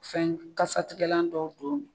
Fɛn kasatigɛlan dɔw don